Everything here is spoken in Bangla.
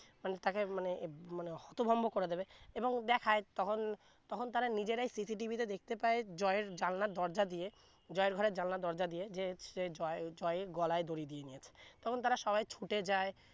মানে তাকে মানে মানে হতভম্ব করে দিবে এবং দেখায় তখন তখন তারা নিজেরাই cc tv তে দেখতে পায় জয় এর জানালা দরজা দিয়ে জয় এর ঘরের জানালা দিয়ে যে সে জয় জয় গলায় দড়ি দিয়ে নিয়েছে তখন তারা সবাই ছুটে যায়